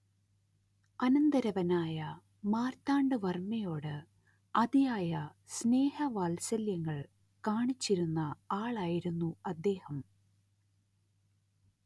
അനന്തരവനായ മാർത്താണ്ഡവർമ്മയോട് അതിയായ സ്നേഹവാത്സല്യങ്ങൾ കാണിച്ചിരുന്ന ആളായിരുന്നു അദ്ദേഹം